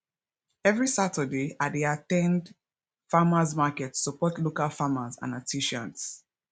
every saturday i dey at ten d farmers market to support local farmers and artisans